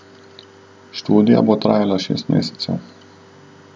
Študija bo trajala šest mesecev.